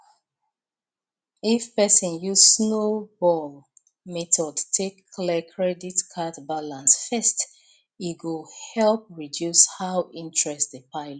if person use snowball method take clear credit card balance fast e go help reduce how interest dey pile up